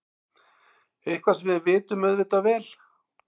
Eitthvað sem við vitum auðvitað vel.